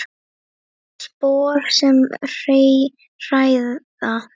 Spor sem hræða.